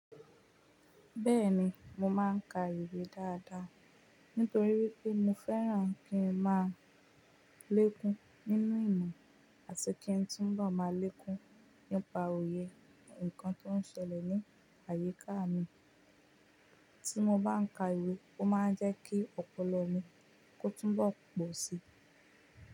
Bẹ́ẹ̀ni, mo máa ń ka ìwé dáadáa. Nítorí pé mo fẹ́ràn kí n máa lẹ́kún nínú ìmọ̀ àti kí n túnbọ̀ máa lẹ́kún nípa òye nǹkan tó ń ṣẹlẹ̀ ní àyíká mi. Tí mo bá ń ka ìwé, ó máa ń jẹ́ kí ọpọlọ mi kó túnbọ̀ pọ̀ sí.